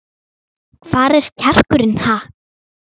Hvar er kjarkurinn, ha?